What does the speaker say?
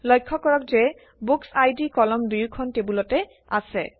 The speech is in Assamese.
লক্ষ্য কৰক যে বুকচ্আইডি কলম দুয়োখন টেবুলতে আছে